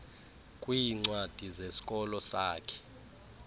kwiincwadi zesikolo sakhe